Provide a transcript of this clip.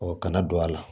kana don a la